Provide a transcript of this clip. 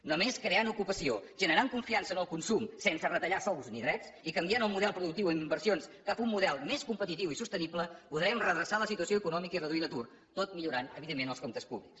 només creant ocupació generant confiança en el consum sense retallar sous ni drets i canviant el model productiu d’inversions cap a un model més competitiu i sostenible podrem redreçar la situació econòmica i reduir l’atur tot millorant evidentment els comptes públics